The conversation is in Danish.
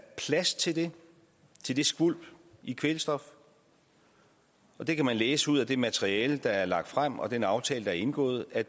plads til det til det skvulp i kvælstof og det kan man læse ud af det materiale der er lagt frem og den aftale der er indgået at